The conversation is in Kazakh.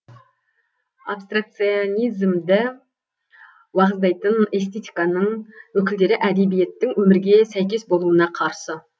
абстракционизмді уағыздайтын эстетиканың өкілдері әдебиеттің өмірге сәйкес болуына қарсы